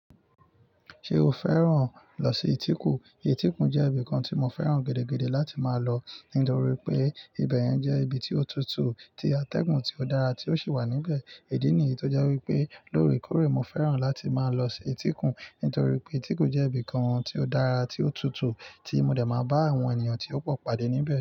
Ṣé o fẹ́ràn lọ sí Etiku? Etikun jẹ́ ibì kan tí mo fẹ́ràn gẹdẹgẹdẹ láti máa lọ nítorí pé ibẹ̀yẹn jẹ́ ibi tí ó tutù tí atẹ́gùn tí ó dára tí ó sì wà níbẹ̀. Idí nìyí tó jẹ́ wípé lórí kórí mo fẹ́ràn láti máa lọ sí Etikun nítorí pé Etikun jẹ́ ibì kan tí ó dára tí ó tutù tí mo dẹ̀ máa bá àwọn ènìyàn tí ó pọ̀ pàdé níbẹ̀